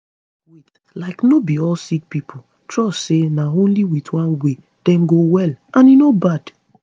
wait like no be all sick pipo trust say na only with one way dem go well and e no bad